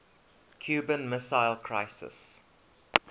cuban missile crisis